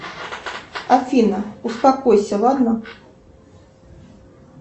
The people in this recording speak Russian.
афина успокойся ладно